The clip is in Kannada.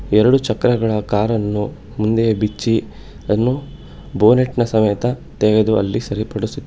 ಎರಡು ಚಕ್ರಗಳ ಕಾರ ನ್ನು ಮುಂದೆಯೇ ಬಿಚ್ಚಿ ಅದನ್ನು --